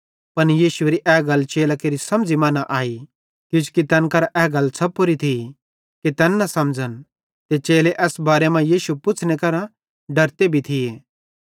पन यीशुएरी ए गल चेलां केरि समझ़ी मां न आई किजोकि तैन करां ए गल छ़पोरी थी कि तैन न समझ़न ते चेले एस बारे मां यीशु पुच्छ़ने करां डरते भी थिये